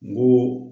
N ko